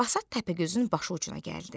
Basat Təpəgözün başı ucuna gəldi.